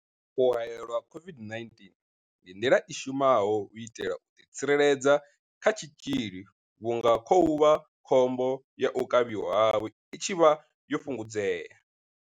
U haelelwa COVID-19 ndi nḓila i shumaho u itela u ḓitsireledza kha tshitzhili vhunga khovhakhombo ya u kavhiwa havho i tshi vha yo fhungudzea.